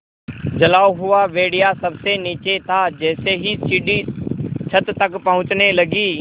जला हुआ भेड़िया सबसे नीचे था जैसे ही सीढ़ी छत तक पहुँचने लगी